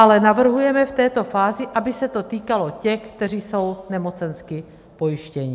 Ale navrhujeme v této fázi, aby se to týkalo těch, kteří jsou nemocensky pojištěni.